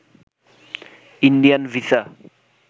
Indian visa